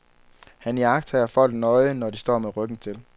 Han iagttager folk nøje, når de står med ryggen til.